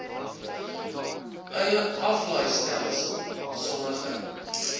eie aflaaistelsel sommige